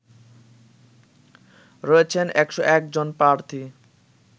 রয়েছেন ১০১ জন প্রার্থী